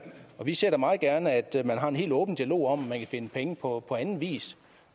vi ser da meget gerne at man har en helt åben dialog om om man kan finde penge på anden vis